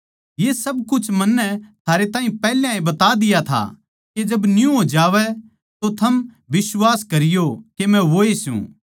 ये सब कुछ मन्नै थारे ताहीं पैहले ए बता दिया था के जब न्यू हो जावै तो थम बिश्वास करियो के मै वोए सूं